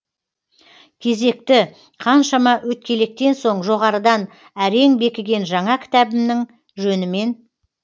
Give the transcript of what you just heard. кезекті қаншама өткелектен соң жоғарыдан әрең бекіген жаңа кітабымның жөнімен